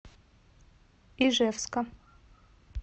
ижевска